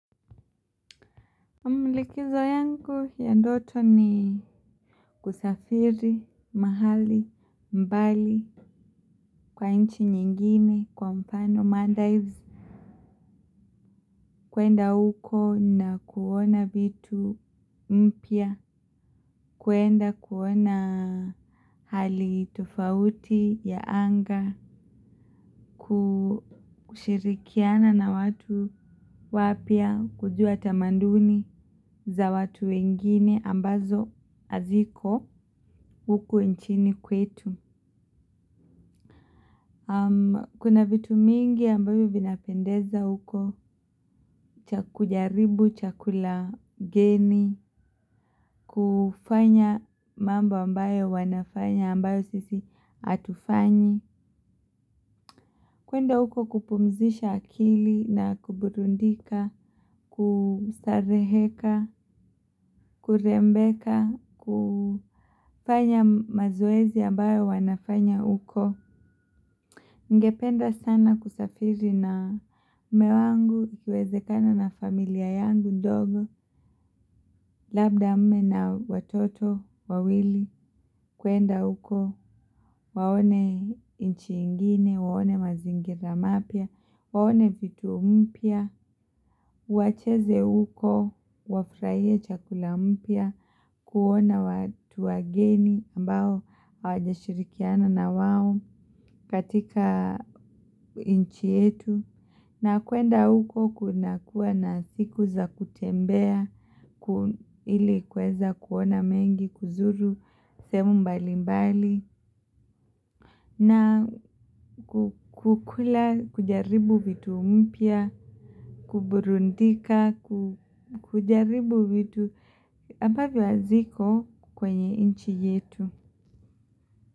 Likizo yangu ya ndoto ni kusafiri, mahali, mbali, kwa nchi nyingine, kwa mfano, maldives, kuenda huko na kuona vitu mpya, kuenda kuona hali tofauti ya anga, kushirikiana na watu wapya, kujua tamaduni za watu wengine ambazo haziko huku nchini kwetu. Kuna vitu mingi ambavyo vinapendeza huko. Kujaribu chakula geni. Kufanya mambo ambayo wanafanya ambayo sisi hatufanyi. Kuenda huko kupumzisha akili na kuburudika, kustareheka, kurembeka, kufanya mazoezi ambayo wanafanya huko. Ningependa sana kusafiri na mume wangu ikiwezekana na familia yangu ndogo, labda mme na watoto, wawili, kuenda huko, waone nchi ingine, waone mazingira mapya, waone vitu mpya, wacheze huko, wafurahie chakula mpya, kuona watu wageni ambao hawajashirikiana na wao katika nchi yetu. Na kuenda huko kunakuwa na siku za kutembea, ili kuweza kuona mengi, kuzuru sehemu mbalimbali na kukula, kujaribu vitu mpya, kuburudika, kujaribu vitu, ambavyo haziko kwenye nchi yetu.